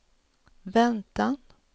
väntan